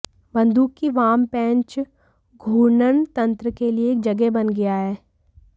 बंदूक की वाम पेंच घूर्णन तंत्र के लिए एक जगह बन गया है